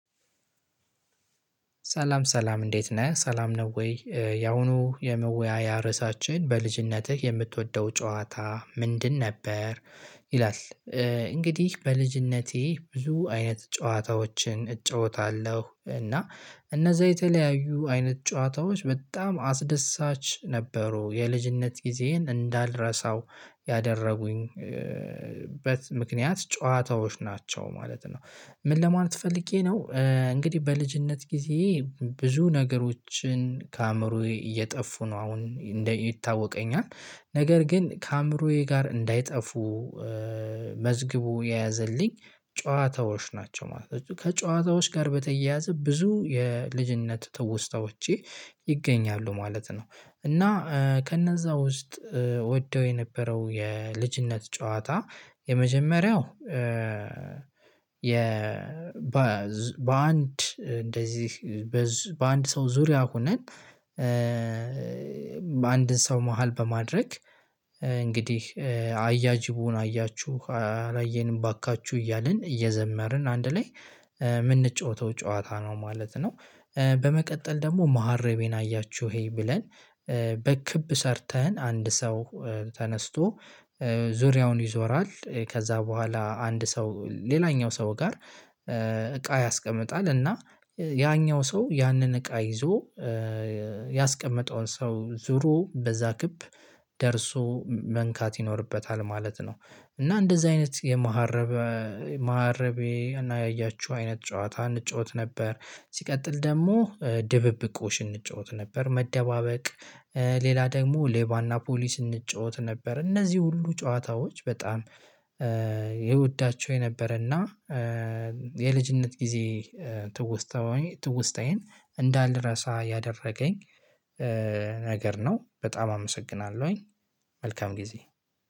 ሰላም ሰላም እንዴት ነህ ሰላም ነው ወይ ያሁኑ የመወያያ ርዕሳችን በልጅነትህ የምትወደው ጨዋታ ምንድን ነበር? ይላል። እንግዲህ በልጅነቴ ብዙ አይነት ጨዋታዎችን እጫወታለሁ እና እነዛ የተለያዩ አይነት ጨዋታዎች በጣም አስደሳች ነበሩ የልጅነት ጊዜዬን እንዳልረሳው ያደረጉኝበት ምክንያት ጨዋታዎች ናቸው ማለት ነው። ምን ለማለት ፈልጌ ነው እንግዲህ በልጅነት ጊዜ። ብዙ ነገሮችን ከአእምሮዬ እየጠፉ ነው አሁን እንደ ይታወቀኛል ነገር ግን ከአእምሮዬ ጋር እንዳይጠፉ መዝግቦ የያዘልኝ ጨዋታዎች ናቸው ማለት ነው። ከጨዋታዎች ጋር በተያያዘ ብዙ የልጅነት ትውስታዎቼ ይገኛሉ ማለት ነው። እና ከነዛ ውስጥ ወደው የነበረው የልጅነት ጨዋታ የመጀመሪያው። የ በአንድ እንደዚህ በአንድ ሰው ዙሪያ ሆነን በአንድን ሰው መሃል በማድረግ እንግዲህ አያጅቡን አያችሁ አላየንም ባካችሁ እያልን እየዘመርን አንድ ላይ የምንጫወተው ጨዋታ ነው ማለት ነው። በመቀጠል ደግሞ መሀረቤን አያችሁ ይሄ ብለን በክብ ሰርተን አንድ ሰው ተነስቶ ዙሪያውን ይዞራል። ከዛ በኋላ አንድ ሰው ሌላኛው ሰው ጋር እቃ ያስቀምጣል እና ያኛው ሰው ያንን እቃ ይዞ ያስቀመጠውን ሰው ዞሮ በዛ ክብ ደርሶ መንካት ይኖርበታል ማለት ነው። እና እንደዚህ አይነት የመሀረብ መሀረቤ እና ያያችሁ አይነት ጨዋታ እንጫወት ነበር። ሲቀጥል ደግሞ ድብብቆሽ እንጫወት ነበር መደባበቅ ሌላ ደግሞ ሌባና ፖሊስ እንጫወት ነበር። እነዚህ ሁሉ ጨዋታዎች በጣም የወዳቸው የነበረና የልጅነት ጊዜ ትውስታዊ ትውስታዬን እንዳልረሳ ያደረገኝ ነገር ነው። በጣም አመሰግናለሁኝ። መልካም ጊዜ